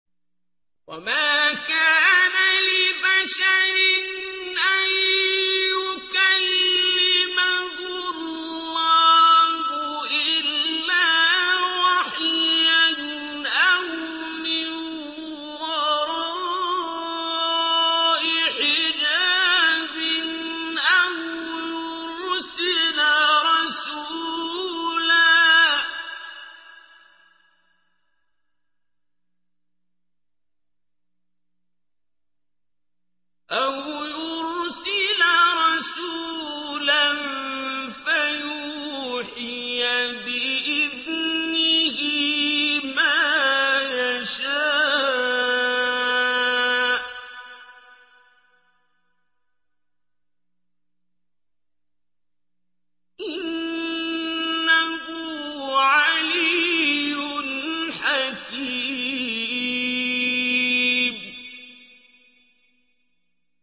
۞ وَمَا كَانَ لِبَشَرٍ أَن يُكَلِّمَهُ اللَّهُ إِلَّا وَحْيًا أَوْ مِن وَرَاءِ حِجَابٍ أَوْ يُرْسِلَ رَسُولًا فَيُوحِيَ بِإِذْنِهِ مَا يَشَاءُ ۚ إِنَّهُ عَلِيٌّ حَكِيمٌ